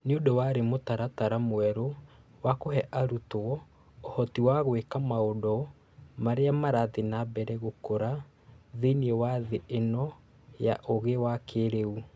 Nĩũndũ warĩ mũtaratara mwerũ wa kũhe arutwo ũhoti wa gwĩka maũndũ marĩa marathiĩ na mbere gũkũra thĩinĩ wa thĩ ĩno ya ũũgĩ wa kĩĩrĩu